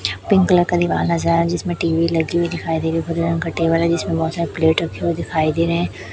pink colour का दीवाल नजर आ रहा जिसमें टी_वी लगी हुई दिखाई रही है हरे रंग का टेबल है जिसमें बहोत सारे प्लेट रहे हुए दिखाई दे रहे--